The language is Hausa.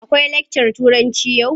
Akwai lakcar Turanci yau?